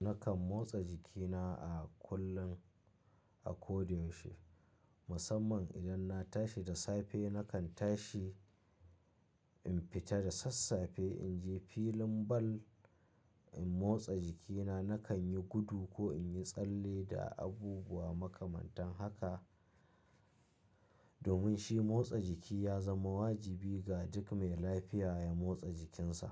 Nakan motsa jikina a kullum, a ko da yaushe. Musamman idan na tashi da safe, nakan tashi in fita da sassafe in je filin bal in motsa jikina. Nakan yi gudu ko in yi tsalle da abubuwa makamantan haka. Domin shi motsa jiki ya zama wajibi ga duk mai lafiya ya motsa jikinsa.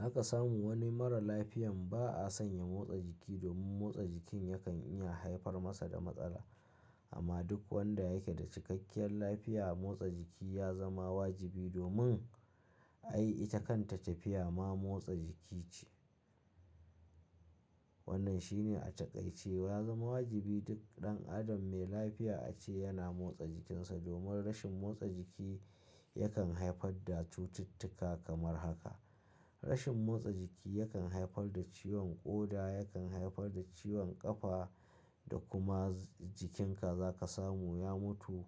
Haka samu wani mara laifiyan ba a san ya motsa jiki domin motsa jikin yakan iya haifar masa da matsala. Amma duk wanda yake da cikakkiyar lafiya, motsa jiki ya zama wajibi domin ai ita kanta tafiya ma motsa jiki ce. Wannan shine a taƙaice ya zama wajibi duk ɗan adam mai lafiya ace yana motsa jikinsa. Domin rashin motsa jiki yakan haifar da cututtuka kamar haka. Rashin motsa jiki yakan haifar da ciwon ƙoda, yakan haifar da ciwon ƙafa da kuma jikinka za ka samu ya mutu.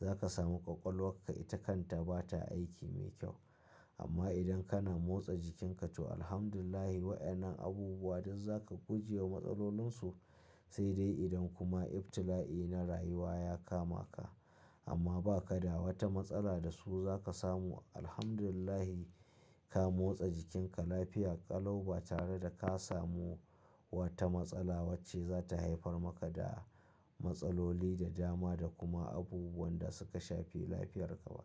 Za ka samu ƙwaƙwalwan ka ita kan ta ba ta aiki mai kyau. Amma idan kana motsa jikinka to Alhamdulillahi, wayannan abubuwa duk za ka guje wa matsalolinsu. Sai dai idan kuma ibtila'i na rayuwa ya kama ka, amma ba ka da wata matsala da su za ka samu. Alhamdulillahi, ka motsa jikinka lafiya ƙalau ba tare da ka samu wata matsala wacce za ta haifar maka da matsaloli da dama da kuma abubuwan da su ka shafi lafiyarka ba.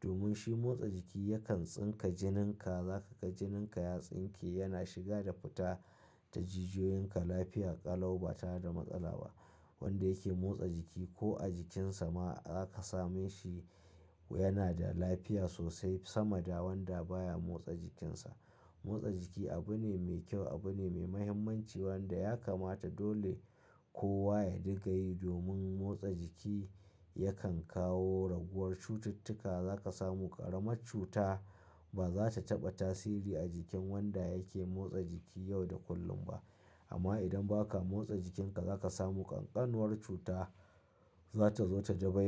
Domin shi motsa jiki yakan tsinka jininka, za ka ga jininka ya tsinke, yana shiga da fita ta jijiyoyinka lafiya ƙalau ba tare da matsala ba. Wanda yake motsa jiki ko a jikinsa ma za ka same shi yana da lafiya sosai sama da wanda baya motsa jikinsa. Motsa jiki abu ne mai kyau, abu ne mai mahimmanci wanda ya kamata dole kowa ya dinga yi domin motsa jiki yakan kawo raguwar cututtuka. Za ka samu ƙaramar cuta ba za ta taɓa tasiri a jikin wanda yake motsa jiki yau da kullum ba. Amma idan ba ka motsa jikinka za ka samu ƙanƙanuwar cuta za ta zo ta dabai.